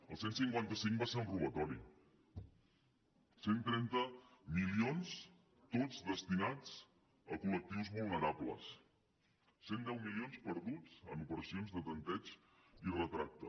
el cent i cinquanta cinc va ser un robatori cent i trenta milions tots destinats a col·lectius vulnerables cent i deu milions perduts en operacions de tanteig i retracte